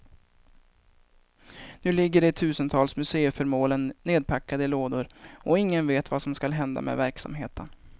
Nu ligger de tusentals museiföremålen nedpackade i lådor och ingen vet vad som skall hända med verksamheten.